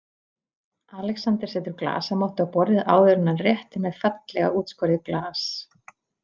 Alexander setur glasamottu á borðið áður en hann réttir mér fallega útskorið glas.